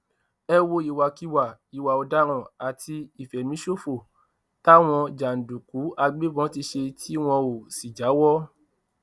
ẹ wo ìwàkiwà ìwà ọdaràn àti ìfẹmíṣòfò táwọn jàǹdùkú àgbẹbọn ti ṣe tí wọn ò sì jáwọ